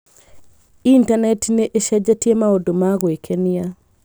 Intaneti nĩ ĩcenjetie maũndũ ma gwĩkenia.